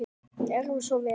Gerðu svo vel!